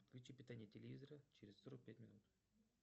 отключи питание телевизора через сорок пять минут